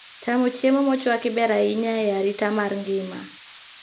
Chamo chiemo mochwaki ber ahinya e arita mar ng'ima